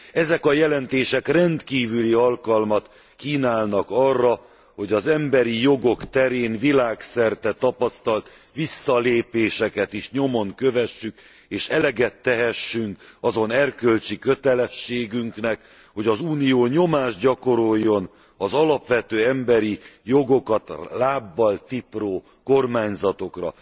Ezek a jelentések rendkívüli alkalmat kínálnak arra, hogy az emberi jogok terén világszerte tapasztalt visszalépéseket is nyomon kövessük, és eleget tehessünk azon erkölcsi kötelességünknek, hogy az Unió nyomást gyakoroljon az alapvető emberi jogokat lábbal tipró kormányzatokra.